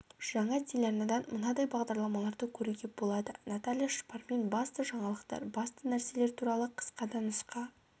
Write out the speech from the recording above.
жаңа телеарнадан мынадай бағдарламаларды көруге болады наталья шпармен басты жаңалықтар басты нәрселер туралы қысқа да нұсқа